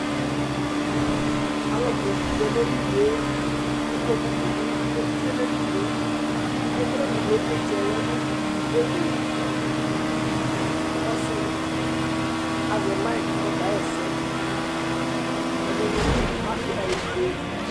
alʊ bʊ dʊ adenidɩ kʊ ikpokunɩ lɛ nʊ edini yɛ, ivlitsɛ dɩ lɛnʊ ɛkplɔ ava, ɔsi dɩ azɛ mike kʊ ɔka ɣa ɛsɛ, ɛdinɩ bɩ adʊ awu fue